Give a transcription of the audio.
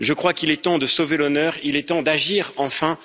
Je crois qu'il est temps de sauver l'honneur, il est temps d'agir enfin.